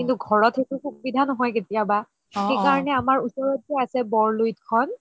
কিন্তু ঘৰত সেইটো সুবিধা নহয় কেতিয়াবা সেইকাৰণে আমাৰ ওচৰত যে আছে বৰ লোহিত খন